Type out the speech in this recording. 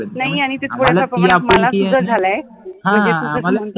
नाहि